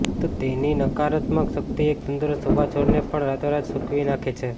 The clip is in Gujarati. તો તેની નકારાત્મક શક્તિ એક તંદુરસ્ત ઉભા છોડને પણ રાતોરાત સૂકવી નાંખે છે